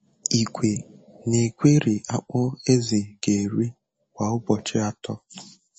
Igwe na-egweri akpụ ezì ga-eri kwa ụbọchị atọ.